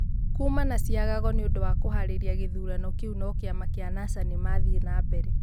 kuma na ciagago nĩũndũ wa kuharĩria gĩthurano kĩu no Kĩama kĩa Nasa nĩmathiĩ na mbere